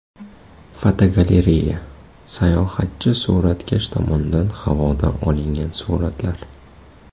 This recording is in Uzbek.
Fotogalereya: Sayohatchi suratkash tomonidan havodan olingan suratlar.